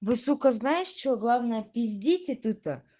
вы сука знаешь что главное пиздите тута